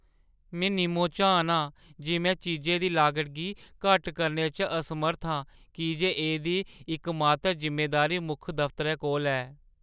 में निम्मो-झान आं जे में चीजै दी लागत गी घट्ट करने च असमर्थ आं की जे एह्दी इकमात्त‌र जिम्मेदारी मुक्ख दफतरै कोल ऐ।